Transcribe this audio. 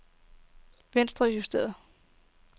venstrejusteret